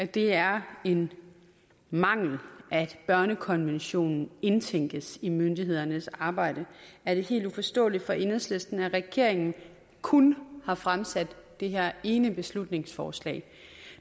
det er en mangel at børnekonventionen indtænkes i myndighedernes arbejde er det helt uforståeligt for enhedslisten at regeringen kun har fremsat det her ene beslutningsforslag